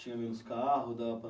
Tinha menos carro, dava